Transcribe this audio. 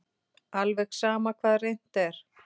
Alveg sama hvað reynt er.